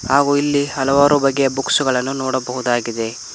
ಹಾಗು ಇಲ್ಲಿ ಹಲವಾರು ಬಗೆಯ ಬುಕ್ಸ್ ಗಳನ್ನು ನೋಡಬಹುದಾಗಿದೆ.